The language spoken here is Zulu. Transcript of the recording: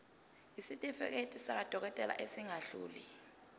isitifiketi sakwadokodela esingadluli